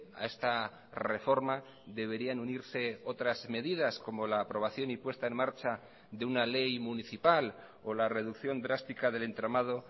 a esta reforma deberían unirse otras medidas como la aprobación y puesta en marcha de una ley municipal o la reducción drástica del entramado